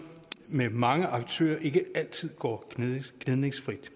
med mange aktører ikke altid går gnidningsfrit